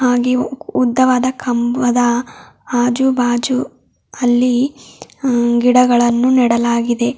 ಹಾಗೆ ಉದ್ದವಾದ ಕಂಬದ ಆಜು ಭಾಜು ಅಲ್ಲಿ ಅ ಗಿಡಗಳನ್ನು ನೆಡಲಾಗಿದೆ.